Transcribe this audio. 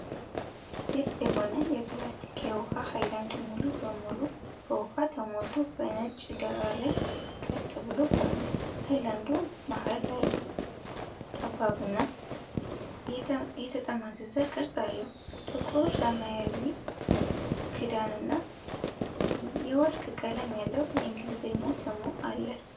ግልጽ የሆነ የፕላስቲክ የውሃ ሃይላንድ ሙሉ በሙሉ በውሃ ተሞልቶ በነጭ ዳራ ላይ ቀጥ ብሎ ቆሟል። ሃይላንዱ መሃል ላይ ጠባብና የተጠማዘዘ ቅርጽ አለው፤ ጥቁር ሰማያዊ ክዳንና የወርቅ ቀለም ያለው የእንግሊዘኛ ስሙ አለ።